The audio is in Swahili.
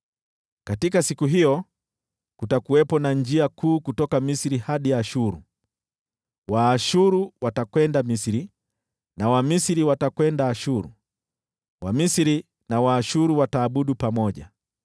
Katika siku hiyo kutakuwepo na njia kuu kutoka Misri hadi Ashuru. Waashuru watakwenda Misri, na Wamisri watakwenda Ashuru. Wamisri na Waashuru wataabudu pamoja.